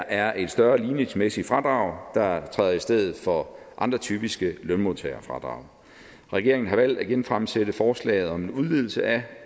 er et større ligningsmæssigt fradrag der træder i stedet for andre typiske lønmodtagerfradrag regeringen har valgt at genfremsætte forslaget om en udvidelse af